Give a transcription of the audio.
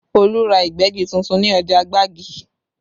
Olu ra Ìgbẹ́gi tuntun ní ọjà Gbagi